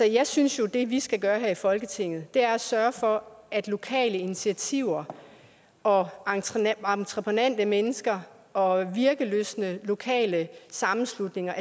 jeg synes jo at det vi skal gøre her i folketinget er at sørge for at lokale initiativer og entreprenante mennesker og virkelystne lokale sammenslutninger